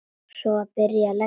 Svo var byrjað að leggja.